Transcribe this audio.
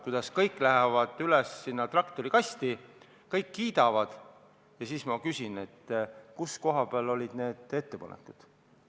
Kui kõik lähevad üles traktorikasti, kõik kiidavad, siis ma küsin, et kuhu jäid need ettepanekud.